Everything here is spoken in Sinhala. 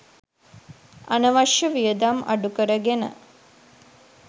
අනවශ්‍ය වියදම් අඩුකරගෙන